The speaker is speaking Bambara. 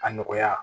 A nɔgɔya